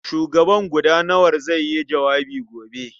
Shugaban gudanawar zai yi jawabi gobe.